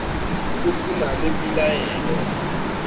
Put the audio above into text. go se na le pelaelo